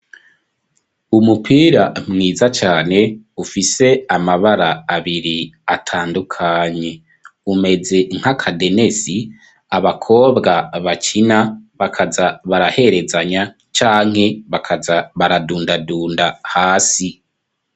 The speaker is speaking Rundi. Umupira mwiza cane ufise amabara abiri atandukanye umeze nk'akadenesi abakobwa bakina bakaza baraherezanya canke bakaza baradundadunda hasi.